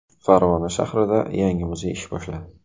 Farg‘ona shahrida yangi muzey ish boshladi .